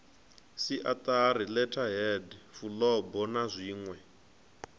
siatari letterheads fulubo na zwinwe